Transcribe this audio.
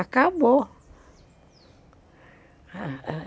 Acabou.